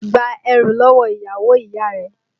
Gba ẹrú lọ́wọ́ ìyàwó ìyá rẹ!